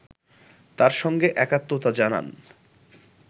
তার সঙ্গে একাত্মতা জানান